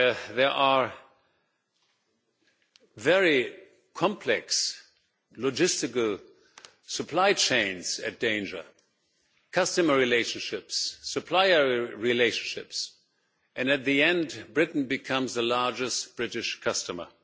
There are very complex logistical supply chains in danger customer relationships, supplier relationships and, in the end, Britain will become the largest British customer.